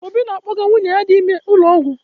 Obi ọ na-akpọga nwunye ya dị ime ụlọọgwụ?